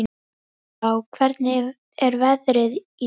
Heiðbrá, hvernig er veðrið í dag?